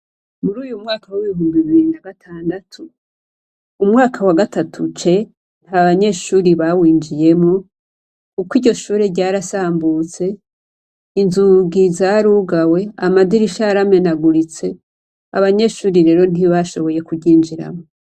Muri uyu mwaka w'ibihumbi bibiri na gatandatu, umwaka wa gatatu C, ntabanyeshure bawinjiyemwo, kuko iryo shure ryarasambutse, inzugi zarugawe, amadirisha yaramenaguritse, abanyeshuri rero ntibashoboye kuryinjiramwo.